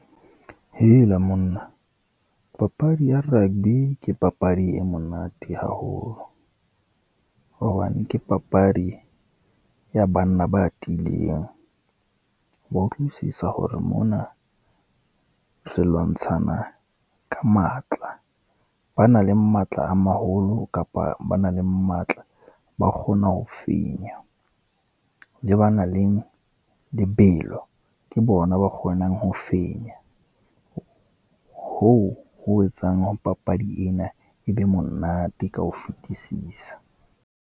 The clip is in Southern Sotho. Hela monna, papadi ya rugby ke papadi e monate haholo, hobane ke papadi ya banna ba tiileng. O wa utlwisisa hore mona re lwantshana ka matla, ba nang le matla a maholo kapa ba nang le matla, ba kgona ho fenya. Le ba na leng, lebelo ke bona ba kgonang ho fenya. Hoo etsang hore papadi ena, e be monate ka ho fetisisa.